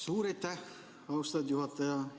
Suur aitäh, austatud juhataja!